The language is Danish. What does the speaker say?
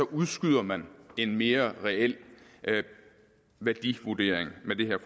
udskyder man en mere reel værdivurdering med det